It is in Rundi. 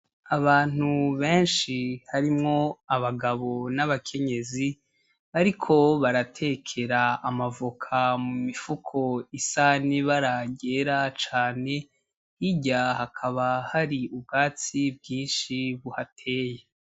Abantu benshi harimwo abagabo n'abakenyezi bariko baratekera amavoka mu mifuko isa n'ibara ryera cane hirya Hakaba hari ubwatsi bwinshi buhateye.